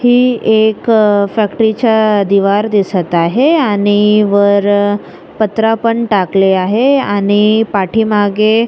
ही एक फॅक्टरीचा दीवार दिसत आहे आणि वर पत्रा पण टाकलेल आहे आणि पाठी मागे--